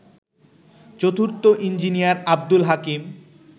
চতুর্থ ইঞ্জিনিয়ার আবদুল হাকিম